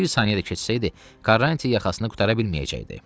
Bir saniyə də keçsəydi, Karrantiya yaxasını qurtara bilməyəcəkdi.